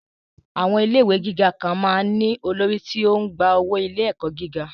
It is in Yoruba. Àwọn ilé ìwé gíga kan máa ń ní olórí tí ó ń gba owó ilé-ẹ̀kọ́ gíga